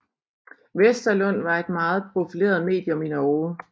Westerlund var et meget profileret medium i Norge